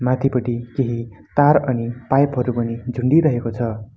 माथिपट्टि केही तार अनि पाइप हरू झुन्डिरहेको छ।